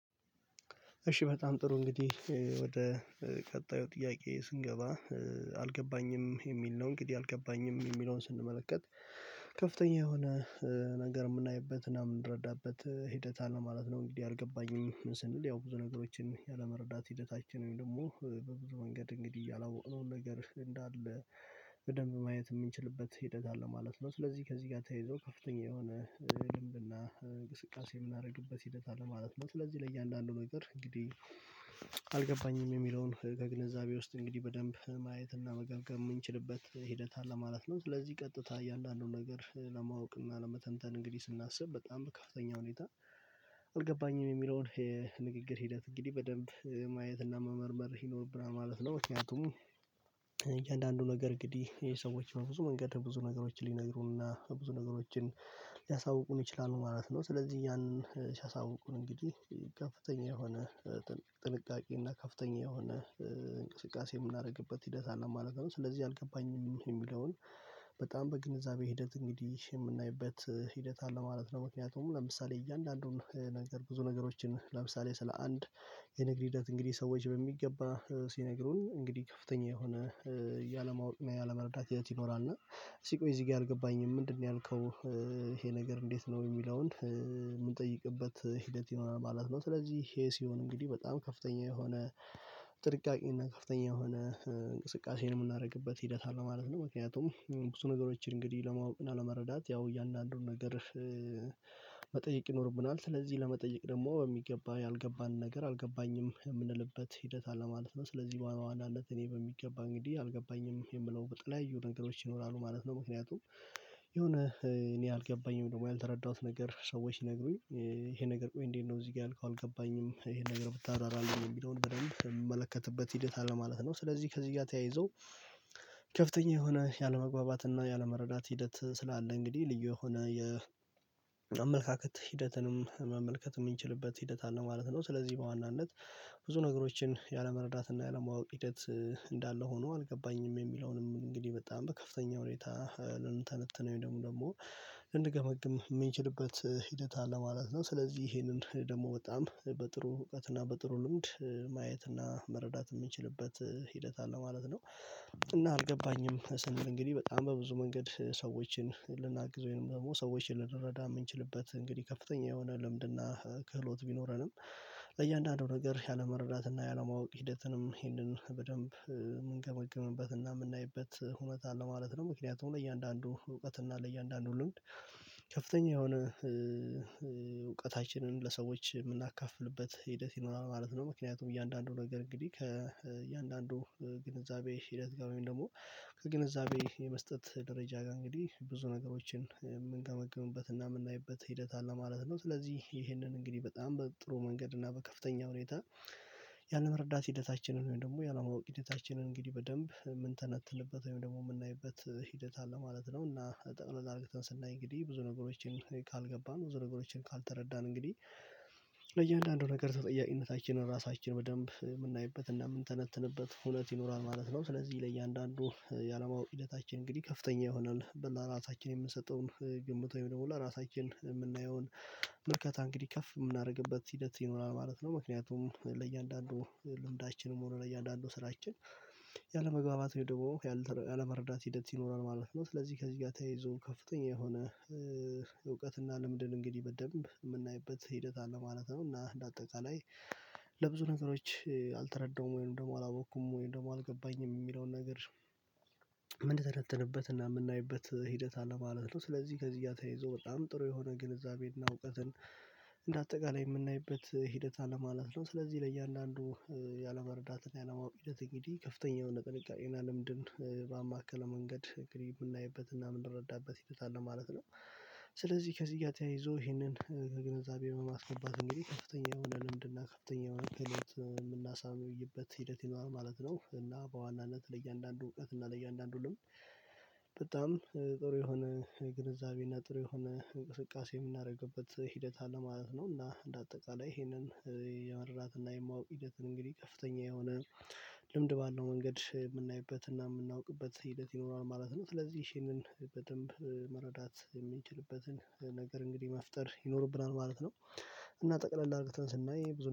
እሺ በጣም ጥሩ እንግዲህ ወደ ቀጣዩ ጥያቄ ስንገባ አልገባኝም የሚል ነው። እንግዲህ አልገባኝም የሚለውን ስንመለከት ከፍተኛ የሆነ ነገር የምናይበት አና የምንረዳበት ሂደት አለ ማለት ነው። እንግዲህ አልገባኝም ስንል ያው ብዙ ነገሮችን ያለመረዳት ሂደታችን ወይም ደግሞ በብድር መንገድ እንግዲህ ያላወቅነው ነገር እንዳለ በደንብ ማየት የምንችልበት ሂደት አለ ማለት ነው። ስለዚህ ከዚህ ጋር ተይዞ ከፍተኛ የሆነ ግንብና እንቅስቃሴ የምናደርግበት ሂደት አለ ማለት ነው። ስለዚህ ለእያንዳንዱ ነው የሚጠራው እንግዲህ አልገባኝም የሚለውን ከግንዛቤ ውስጥ እንግዲህ በደንብ ማየትና መገርገም የምንችልበት ሂደት አለ ማለት ነው። ስለዚህ ቀጥታ ያለነው ነገር ለማወቅ እና ለመተንተን እንግዲህ ስናስብ በጣም ከፍተኛ ሁኔታ አልገባኝም የሚለውን የንግግር ሂደት እንግዲህ በደንብ ማየት እና መመርመር ይኖርብናል ማለት ነው። ምክንያቱም እያንዳንዱ ነገር ግድ የሰዎች ብዙ መንገድ ብዙ ነገሮችን ሊነግሩንና ብዙ ነገሮችን ሊያሳውቁን ይችላሉ ማለት ነው። ስለዚህ ያንን ሊያሳውቁን እንግዲህ ጋር ፍተኛ የሆነ ጥንቃቄ እና ከፍተኛ የሆነ እንቅስቃሴ የምናደርግበት ሂደት አለ ማለት ነው። ስለዚህ አልገባኝም የሚለውን በጣም በግንዛቤ ሂደት እንግዲህ የምናይበት ሂደት አለ ማለት ነው። ምክንያቱም ለምሳሌ እያንዳንዱን ነገር ብዙ ነገሮችን ለምሳሌ ስለ አንድ የንግድ ሂደት እንግዲህ ሰዎች በሚገባ ሲነግሩን እንግዲህ ከፍተኛ የሆነ እያለማወቅ እና እያለመረዳት ያየሁት ይኖራል። እና ሲቆይ እዚህ ጋር አልገባኝም ምንድነው ያልከው? ይሄ ነገር እንዴት ነው የሚለውን የምንጠይቅበት ሂደት ይሆናል ማለት ነው። ስለዚህ ይሄ ሲሆን እንግዲህ በጣም ከፍተኛ የሆነ ጥንቃቄ እና ከፍተኛ የሆነ እንቅስቃሴን የምናደርግበት ሂደት አለ ማለት ነው። ምክንያቱም ብዙ ነገሮችን እንግዲህ ለመረዳት ያው እያንዳንዱን ነገር መጠየቅ ይኖርብናል። ስለዚህ ለመጠየቅ ደግሞ በሚገባ ያልገባን ነገር አልገባኝም የምንልበት ሂደት አለ ማለት ነው። ስለዚህ በዋናነት ድ እኔ በሚገባ እንግዲህ አልገባኝም የምለው በጥለው የሆኑ ነገሮች ይኖራሉ ማለት ነው። ምክንያቱም የሆነ እኔ አልገባኝም ደግሞ ያልተረዳሁት ነገር ሰዎች ይነግሩኝ ይሄ ነገር ቆይ እንዴት ነው እዚህ ጋር ያልከው አልገባኝም? ይሄን ነገር ብታደራራለህ የሚለውን በደንብ የምመለከትበት ሂደት አለ ማለት ነው። ስለዚህ ከዚህ ጋር ተያይዞ ከፍተኛ የሆነ ያለመግባባትና ያለመረዳት ሂደት ስላለ እንግዲህ ልዩ የሆነ የአመለካከት ሂደትንም መመልከት የምንችልበት ሂደት አለ ማለት ነው። ስለዚህ በዋናነት ብዙ ነገሮችን ያለመረዳትና ያለማወቅ ሂደት እንዳለ ሆኖ አልገባኝም የሚለውንም እንግዲህ በጣም በከፍተኛ ሁኔታ ለኑተን ተነትነኝ ደግሞ ደግሞ እንድገምግም የምንችልበት ሂደት አለ ማለት ነው። ስለዚህ ይሄንን ደግሞ በጣም በጥሩ ርቀትና በጥሩ ልምድ ማየትና መረዳት የምንችልበት ሂደት አለ ማለት ነው። እና አልገባኝም ስንል እንግዲህ በጣም በብዙ መንገድ ሰዎችን ልናግዘው ወይንም ደግሞ ሰዎችን ልንረዳ የምንችልበት እንግዲህ ከፍተኛ የሆነ ልምድና ክህሎት ቢኖረንም ለእያንዳንዱ ነገር ያለመረዳትና ያለማወቅ ሂደትንም ይህንን በደንብ የምንገመግምበትና የምናይበት እውነት አለ ማለት ነው። ምክንያቱም ለእያንዳንዱ እውቀት እና ለእያንዳንዱ ልምድ ከፍተኛ የሆነ እውቀታችንን ለሰዎች የምናካፍልበት ሂደት ይኖራል ማለት ነው። ምክንያቱም እያንዳንዱ ነገር እንግዲህ ከእያንዳንዱ ግንዛቤ ሂደት ጋር ወይም ደግሞ ከግንዛቤ የመስጠት ደረጃ ጋር እንግዲህ ብዙ ነገሮችን የምንገመግምበት እና የምናይበት ሂደት አለ ማለት ነው። ስለዚህ ይሄንን እንግዲህ በጣም በጥሩ መንገድ እና በከፍተኛ ሁኔታ ያንን መረዳት ሂደታችንን ወይም ደግሞ ያንን መውቅ ሂደታችንን እንግዲህ በደንብ ምን ተነትልበት ወይም ደግሞ የምናይበት ሂደት አለ ማለት ነው። እና ጠቅለል አድርገን ስናይ እንግዲህ ብዙ ነገሮችን ካልገባን ብዙ ነገሮችን ካልተረዳን እንግዲህ ለእያንዳንዱ ነገር ተጠያቂነታችንን ራሳችን በደንብ የምናይበት እና የምንተነትንበት ሁለት ይኖራል ማለት ነው። ስለዚህ ለእያንዳንዱ ያለማወቅ ሂደታችን እንግዲህ ከፍተኛ ይሆናል በላ ራሳችንን የምንሰጠውን ግምት ወይም ደግሞ ለራሳችን የምናየውን ምርከታ እንግዲህ ከፍ የምናደርግበት ሂደት ይኖራል ማለት ነው። ምክንያቱም ለእያንዳንዱ ልምዳችንም ሆነ ለእያንዳንዱ ስራችን ያለመግባባት ወይ ደግሞ ያለመረዳት ሂደት ይኖራል ማለት ነው። ስለዚህ ከዚህ ጋር ተያይዞ ከፍተኛ የሆነ እውቀት እና ለምድር እንግዲህ በደንብ የምናይበት ሂደት አለ ማለት ነው። እና እንደ አጠቃላይ ለብዙ ነገሮች አልተረዳሁም ወይንም ደግሞ አላወቅኩም ወይንም ደግሞ አልገባኝም የሚለውን ነገር ምን ተነተንበት እና የምናይበት ሂደት አለ ማለት ነው። ስለዚህ ከዚህ እያተያይዘው በጣም ጥሩ የሆነ ግንዛቤና እውቀትን እንደ አጠቃላይ የምናይበት ሂደት ለማለት ነው። ስለዚህ ለእያንዳንዱ ያለመረዳት ያለማወቅ ይሄድ እንግዲህ ከፍተኛው ነገር የቀረን ልምድን በማከለው መንገድ እንግዲህ የምናይበትና የምንረዳበት ይተታል ለማለት ነው። ስለዚህ ከዚህ ጋር ተያይዞ ይሄንን ከግንዛቤ ነው የማስነባት እንግዲህ ከፍተኛ የሆነ ልምድና ከፍተኛ የሆነ ምን የምናሳምነው ይበት ሂደት ይኖራል ማለት ነው። እና በዋናነት ለእያንዳንዱ እውቀት እና ለእያንዳንዱ ልምድ በጣም ጥሩ የሆነ ግንዛቤና ጥሩ የሆነ እንቅስቃሴ የምናደርግበት ሂደት አለማለት ነው። እና እንደ አጠቃላይ ይሄንን የመረራትና የማውቅ ሂደትን እንግዲህ ከፍተኛ የሆነ ልምድ ባለው መንገድ የምናይበት እና የምናውቅበት ሂደት ይኖራል ማለት ነው። ስለዚህ ይሄንን በደንብ መረዳት የሚችልበትን ነገር እንግዲህ መፍጠር ይኖርብናል ማለት ነው። እና ጠቅለል አድርገን ስናይ ብዙ